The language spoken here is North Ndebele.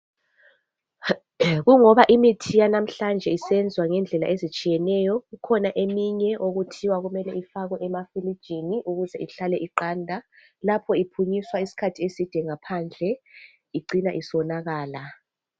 Kungoba imithi yanamhlanje isenziwa ngendlela ezitshiyeneyo. Kukhona eminye okuthiwa kumele ifakwe emafirijini ukuze ihlale iqanda. Lapho iphunyiswa isikhathi eside ngaphandle icina isonakala.